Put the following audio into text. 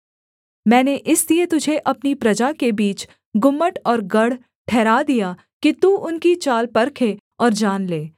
मैंने इसलिए तुझे अपनी प्रजा के बीच गुम्मट और गढ़ ठहरा दिया कि तू उनकी चाल परखे और जान ले